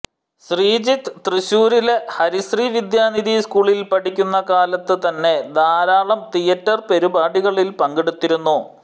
ശ്രീജിത്ത് തൃശ്ശൂരിലെ ഹരി ശീ വിദ്യ നിധി സ്കൂളിൽ പഠിക്കുന്ന കാലത്ത് തന്നെ ധാരാളം തിയേറ്റർ പരിപാടികളിൽ പങ്കെടുത്തിരുന്നു